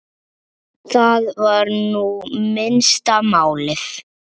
Það var nú minnsta málið.